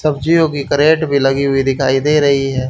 सब्जियों की करेट भी लगी हुई दिखाई दे रही है।